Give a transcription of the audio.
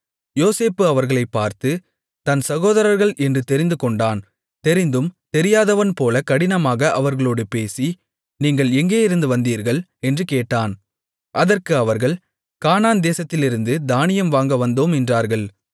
யோசேப்பு அவர்களைப் பார்த்து தன் சகோதரர்கள் என்று தெரிந்துகொண்டான் தெரிந்தும் தெரியாதவன்போலக் கடினமாக அவர்களோடு பேசி நீங்கள் எங்கேயிருந்து வந்தீர்கள் என்று கேட்டான் அதற்கு அவர்கள் கானான் தேசத்திலிருந்து தானியம் வாங்கவந்தோம் என்றார்கள்